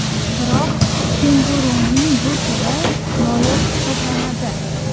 Biroq kenguruning bu turi noyob hisoblanadi.